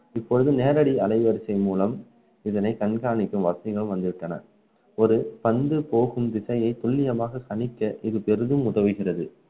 இப்பொழுது நேரடி அலைவரிசை மூலம் இதனை கண்காணிக்கும் வசதிகள் வந்துவிட்டன ஒரு பந்து போகும் திசையை துல்லியமாக கணிக்க இது பெரிதும் உதவுகிறது